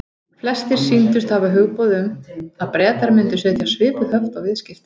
Flestir sýndust hafa hugboð um, að Bretar myndu setja svipuð höft á viðskipti